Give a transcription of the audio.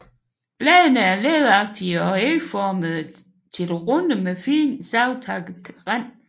Bladene er læderagtige og ægformede til runde med fint savtakket rand